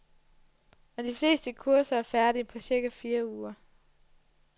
Og de fleste kurser er færdige på cirka fire uger.